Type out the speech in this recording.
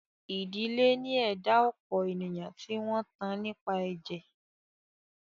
Ìdílé ni ẹ̀dá ọ̀pọ̀ ènìyàn tí wọn tán nípa ẹ̀jẹ̀.